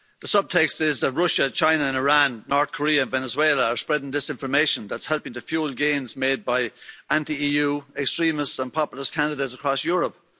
The subtext is that Russia, China, Iran, North Korea and Venezuela are spreading disinformation that's helping to fuel gains made by anti EU extremist and populist candidates across Europe.